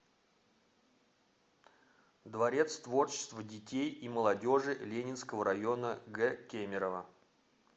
дворец творчества детей и молодежи ленинского района г кемерово